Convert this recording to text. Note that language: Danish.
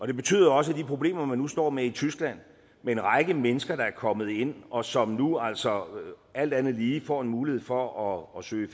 det betyder også at de problemer man nu står med i tyskland med en række mennesker der er kommet ind og som nu altså alt andet lige får en mulighed for at søge